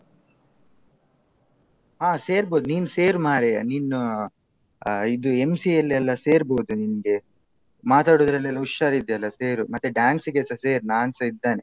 ಹ ಸೇರ್ಬೋದು ನೀನು ಸೇರು ಮಾರಾಯ ನೀನೂ ಆ ಇದು MC ಯಲ್ಲೆಲ್ಲಾ ಸೇರ್ಬೋದು ನಿನ್ಗೆ. ಮಾತಾಡುದ್ರಲೆಲ್ಲ ಹುಷಾರಿದ್ದೀಯಲ್ಲ ಸೇರು ಮತ್ತೆ dance ಗೆಸ ಸೇರು ನಾನ್ಸ ಇದ್ದೇನೆ.